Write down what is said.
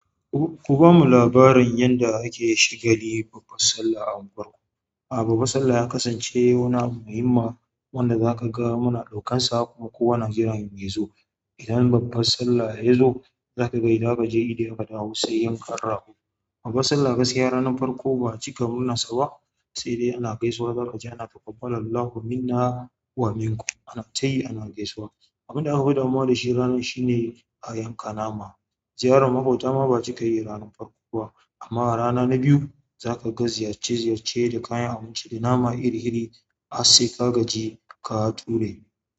Ku-kuban mu labarin yanda ake shagali babba sallah a unguwarku. A babbar sallah ya kasance wani muhimma wanda zaka ga muna ɗaukansa kuma kowa na jiran ya zo. Idan babbas sallah yazo zaka ga idan kaje idi aka dawo sai yanka rago. Babbar sallah gaskiya ranan farko ba'a cika murnar sa ba, sai dai ana gaisawa, zaka ji ana, taƙabbalallahu minna wa minku. Ana tayi ana gaisawa. Abun da aka fi damuwa da shi ranan shine a yanka nama. Ziyarar maƙota ma ba'a cika yi ranar farko ba amma a rana na biyu zaka ga ziyarce-ziyarce da kayan abinci da nama iri-iri har sai ka gaji ka ture.